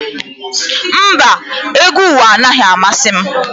Mba, egwu ụwa anaghị amasị m